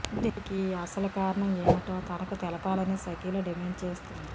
దీనికి అసలు కారణం ఏమిటో తనకు తెలపాలని షకీలా డిమాండ్ చేస్తోంది